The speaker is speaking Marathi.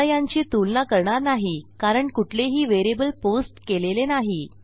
आता यांची तुलना करणार नाही कारण कुठलेही व्हेरिएबल पोस्ट केलेले नाही